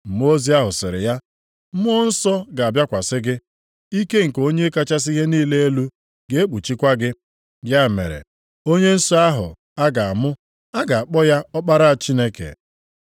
Mmụọ ozi ahụ sịrị ya, “Mmụọ Nsọ ga-abịakwasị gị, ike nke Onye kachasị ihe niile elu ga-ekpuchikwa gị. Ya mere onye nsọ ahụ a ga-amụ, a ga-akpọ ya Ọkpara Chineke.